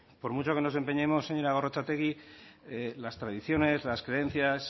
por mucho que nos empeñemos señora gorrotxategi las tradiciones las creencias